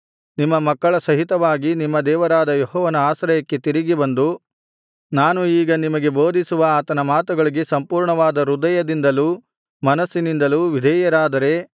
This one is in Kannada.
ನಿಮ್ಮ ಮಕ್ಕಳ ಸಹಿತವಾಗಿ ನಿಮ್ಮ ದೇವರಾದ ಯೆಹೋವನ ಆಶ್ರಯಕ್ಕೆ ತಿರುಗಿ ಬಂದು ನಾನು ಈಗ ನಿಮಗೆ ಬೋಧಿಸುವ ಆತನ ಮಾತುಗಳಿಗೆ ಸಂಪೂರ್ಣವಾದ ಹೃದಯದಿಂದಲೂ ಮನಸ್ಸಿನಿಂದಲೂ ವಿಧೇಯರಾದರೆ